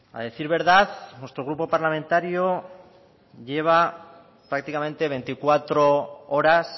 a decir verdad nuestro grupo parlamentario lleva prácticamente veinticuatro horas